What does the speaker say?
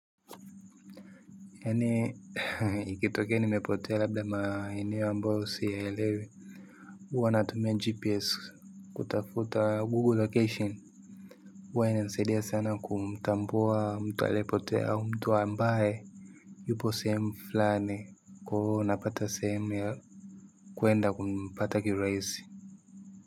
Yaani ikitokea nimepotea labda maeneo ambayo siyaelewi huwa natumia gps kutafuta google location huwa inanisaidia sana kumtambua mtu aliyepotea au mtu ambaye yupo sehemu fulani kwa hiyo unapata sehemu ya kuenda kumpata kiuraisi.